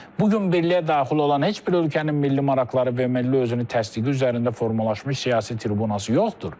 Bu gün birliyə daxil olan heç bir ölkənin milli maraqları və milli özünü təsdiqi üzərində formalaşmış siyasi tribunası yoxdur.